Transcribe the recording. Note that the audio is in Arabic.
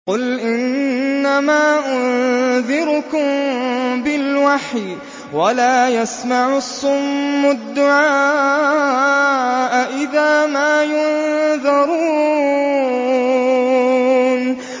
قُلْ إِنَّمَا أُنذِرُكُم بِالْوَحْيِ ۚ وَلَا يَسْمَعُ الصُّمُّ الدُّعَاءَ إِذَا مَا يُنذَرُونَ